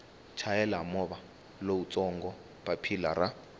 chayela movha lowutsongo papilla ra